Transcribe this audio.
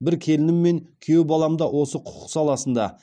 бір келінім мен күйеу балам да осы құқық саласында